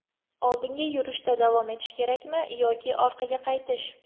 Oldinga yurishda davom etish kerakmi yoki ortga qaytish?